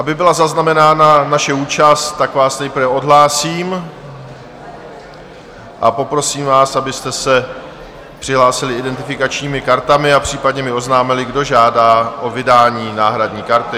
Aby byla zaznamenána naše účast, tak vás nejprve odhlásím a poprosím vás, abyste se přihlásili identifikačními kartami a případně mi oznámili, kdo žádá o vydání náhradní karty.